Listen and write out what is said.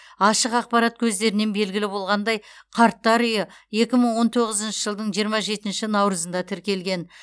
ашық ақпарат көздерінен белгілі болғандай қарттар үйі екі мың он тоғызыншы жылдың жиырма жетінші наурызында тіркелген